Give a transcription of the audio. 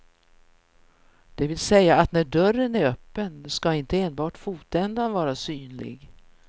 Det vill säga att när dörren är öppen ska inte enbart fotändan vara synlig.